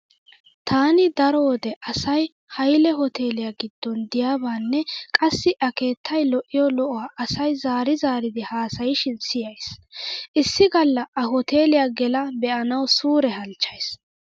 Taani daro wode asay hayle hoteeliya giddon diyabaanne qassi a keettay lo'iyo lo'uwaa asay zaari zaaridi haasayishin siyays. Issi galla a hoteeliya gela be'anawu suure halchchays.